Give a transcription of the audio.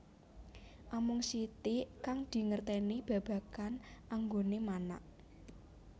Amung sitik kang dingertèni babagan anggoné manak